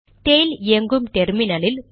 tail இயங்கும் டெர்மினலில்